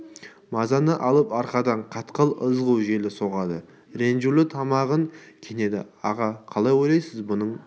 мазаны алып арқадан қатқыл ызғу жел соғады ренжулі тамағын кенеді аға қалай ойлайсыз бұның